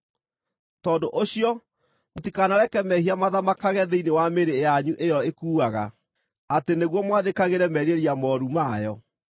Tondũ ũcio, mũtikanareke mehia mathamakage thĩinĩ wa mĩĩrĩ yanyu ĩyo ĩkuaga, atĩ nĩguo mwathĩkagĩre merirĩria mooru mayo.